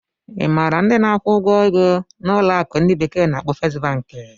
Ị maara ndị na-akwụ ụgwọ ego na ụlọ akụ ndi bekee na-akpo Fest Banki?